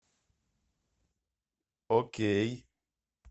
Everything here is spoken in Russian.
окей